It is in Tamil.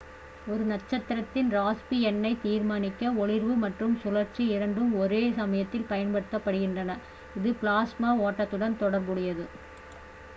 ஒரு நட்சத்திரத்தின் ராஸ்பி எண்ணைத் தீர்மானிக்க ஒளிர்வு மற்றும் சுழற்சி இரண்டும் ஒரே சமயத்தில் பயன்படுத்தப்படுகின்றன இது பிளாஸ்மா ஓட்டத்துடன் தொடர்புடையது